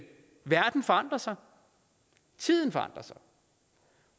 verden forandrer sig tiden forandrer sig